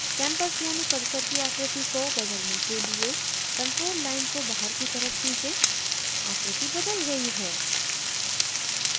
campus यानी परिसर की आकृति को बदलने के लिए control line को बाहर की तरफ खीचें आकृति बदल गयी है